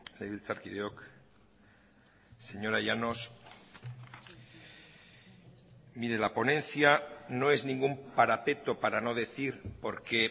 legebiltzarkideok señora llanos mire la ponencia no es ningún parapeto para no decir porque